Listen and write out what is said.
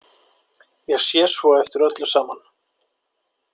Ég sé svo eftir öllu saman.